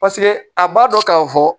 Paseke a b'a dɔn k'a fɔ